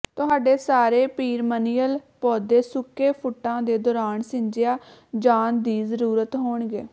ਤੁਹਾਡੇ ਸਾਰੇ ਪੀਰਮਨੀਅਲ ਪੌਦੇ ਸੁੱਕੇ ਫੁੱਟਾਂ ਦੇ ਦੌਰਾਨ ਸਿੰਜਿਆ ਜਾਣ ਦੀ ਜ਼ਰੂਰਤ ਹੋਣਗੇ